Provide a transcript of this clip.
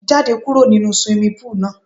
Jáde kúrò nínu swimming pool náà!